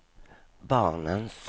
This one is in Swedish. barnens